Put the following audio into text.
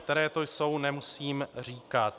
Které to jsou, nemusím říkat.